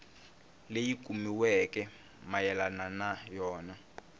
leyi kumiweke mayelana na yona